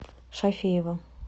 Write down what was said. шафеева